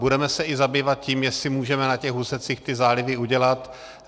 Budeme se zabývat i tím, jestli můžeme na těch úsecích ty zálivy udělat.